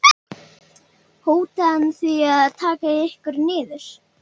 Björn: Hótaði hann því að taka ykkur niður?